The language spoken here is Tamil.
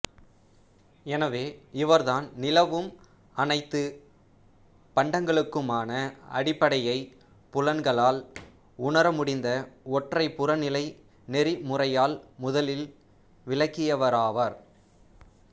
எனவே இவர்தான் நிலவும் அனைத்துப் பண்டங்களுக்குமான அடிப்படையைப் புலன்களால் உணரமுடிந்த ஒற்றைப் புறநிலை நெறிமுறையால்முதலில் விளக்கியவராவார்